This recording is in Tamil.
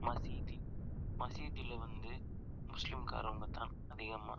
மசீட்டி மசீட்டில வந்து முஸ்லிம்காரவங்க தான் அதிகமா